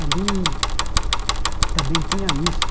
Ali também tinha isso.